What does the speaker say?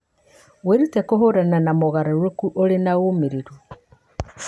Wĩrute kũhiũrania na mogarũrũku ũrĩ na ũmĩrĩru.